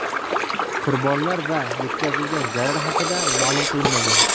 Qurbonlar va yetkazilgan zarar haqida ma’lum qilinmagan.